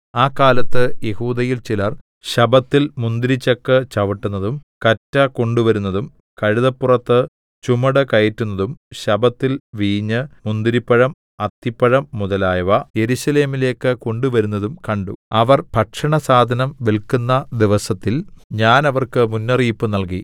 ആ കാലത്ത് യെഹൂദയിൽ ചിലർ ശബ്ബത്തിൽ മുന്തിരിച്ചക്ക് ചവിട്ടുന്നതും കറ്റ കൊണ്ടുവരുന്നതും കഴുതപ്പുറത്ത് ചുമടുകയറ്റുന്നതും ശബ്ബത്തിൽ വീഞ്ഞ് മുന്തിരിപ്പഴം അത്തിപ്പഴം മുതലായവ യെരൂശലേമിലേക്ക് കൊണ്ടുവരുന്നതും കണ്ടു അവർ ഭക്ഷണസാധനം വില്ക്കുന്ന ദിവസത്തിൽ ഞാൻ അവർക്ക് മുന്നറിയിപ്പ് നൽകി